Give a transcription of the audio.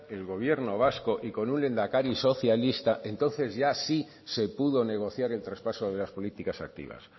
el gobierno vasco y con lehendakari socialista entonces ya sí se pudo negociar el traspaso de las políticas activas